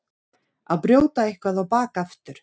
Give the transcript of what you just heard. Að brjóta eitthvað á bak aftur